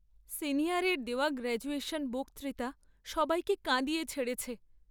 সিনিয়রের দেওয়া গ্র্যাজুয়েশন বক্তৃতা সবাইকে কাঁদিয়ে ছেড়েছে।